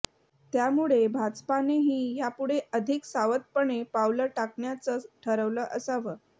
त्यामुळे भाजपानेही यापुढे अधिक सावधपणे पावलं टाकण्याचं ठरवलं असावं